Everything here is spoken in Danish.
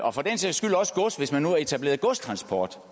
og for den sags skyld også gods hvis man nu har etableret godstransport